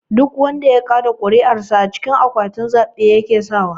Duk wanda ya kaɗa kuri'ar sa a cikin akwatin zabe yake sawa.